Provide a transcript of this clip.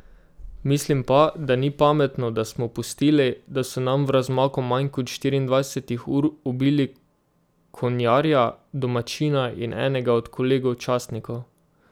Mislim pa, da ni pametno, da smo pustili, da so nam v razmaku manj kot štiriindvajsetih ur ubili konjarja, domačina in enega od kolegov častnikov.